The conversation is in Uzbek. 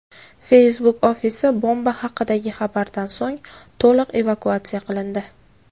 Facebook ofisi bomba haqidagi xabardan so‘ng to‘liq evakuatsiya qilindi.